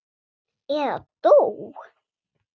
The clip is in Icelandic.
Eða dó.